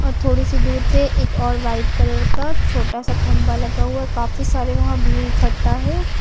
और थोड़ी सी दूर पे एक और वाइट कलर का छोटा सा खंभा लगा हुआ है काफी सारे वहां भीड़ इकट्ठा है।